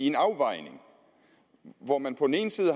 en afvejning hvor man på den ene side